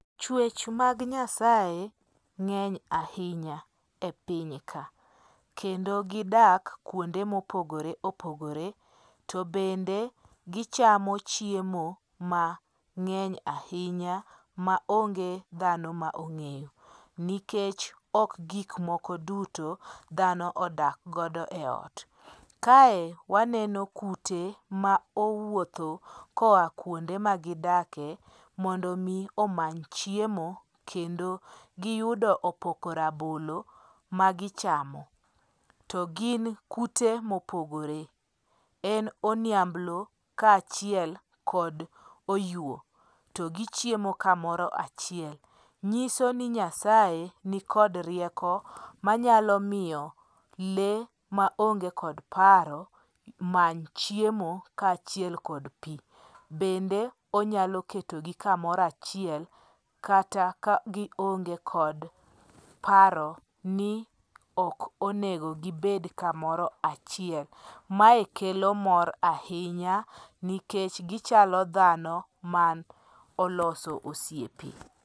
Chwech mag Nyasaye ng'eny ahinya e piny ka. Kendo gidak kuonde mopogore opogore to bende gichamo chiemo mang'eny ahinya maonge dhano ma on g'eyo. Nikech ok gik moko duto, dhano odak godo eot. Kae waneno kute ma owuotho koa kuonde ma gidakie mondo mi omany chiemo kendo giyudo opoko rabolo magichamo. To gin kute mopogore. En oniamblo kaachiel kod oywo. To gichiemo kamoro achiel. Nyiso ni Nyasaye nikod rieko manyalo miyo lee maonge kod paro many chiemo kaachiel kod pi. Bende onyalo ketogi kamoro achiel kata ka gionge kod paro ni ok onego gibed kamoro achiel. Mae kelo mor ahinya nikech gichalo dhano man oloso osiepe.